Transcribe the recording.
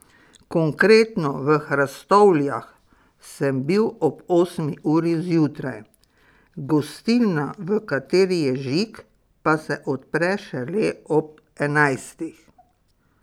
Konkretno, v Hrastovljah sem bil ob osmi uri zjutraj, gostilna, v kateri je žig, pa se odpre šele ob enajstih.